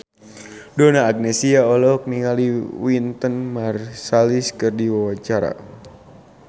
Donna Agnesia olohok ningali Wynton Marsalis keur diwawancara